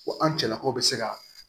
Ko an cɛlakaw bɛ se ka